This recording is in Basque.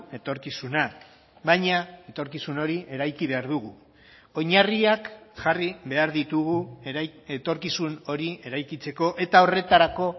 etorkizuna baina etorkizun hori eraiki behar dugu oinarriak jarri behar ditugu etorkizun hori eraikitzeko eta horretarako